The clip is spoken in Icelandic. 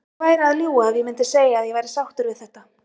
Ég væri að ljúga ef ég myndi segja að ég væri sáttur við þetta.